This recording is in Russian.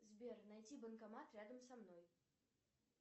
сбер найди банкомат рядом со мной